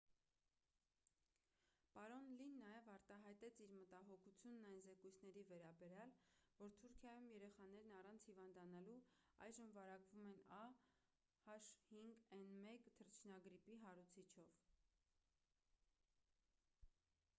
պարոն լին նաև արտահայտեց իր մտահոգությունն այն զեկույցների վերաբերյալ որ թուրքիայում երեխաներն առանց հիվանդանալու այժմ վարակվում են a h5n1 թռչնագրիպի հարուցիչով։